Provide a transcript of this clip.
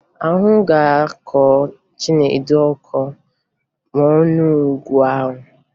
Ahụ ga-akọ Chinedu ọkọ ma ọ ṅụọ ọgwụ ahụ